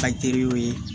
Ka teriw ye